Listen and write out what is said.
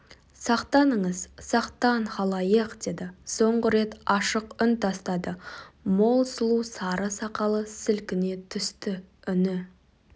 сақтаныңыз сақтан халайық деді соңғы рет ашық үн тастады мол сұлу сары сақалы сілкіне түсті үні